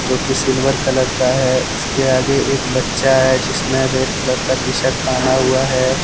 जो की silver colour का है उसके आगे एक बच्चा है जिसने रेड कलर का टी- शर्ट पहना हुआ है।